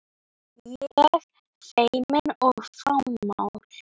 Ég feimin og fámál.